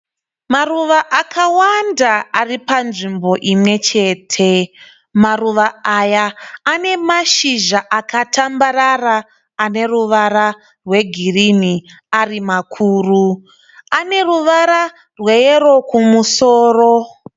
Maruva akawanda aripanzvimbo imwe chete. Maruva aya anemazhizha akatambarara aneruvara rwe girini arimakuru. Aneruvara rweyero kumusoro.